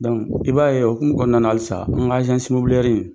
i b'a ye o hukumu kɔnɔna na halisa an ka